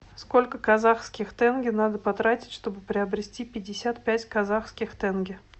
сколько казахских тенге надо потратить чтобы приобрести пятьдесят пять казахских тенге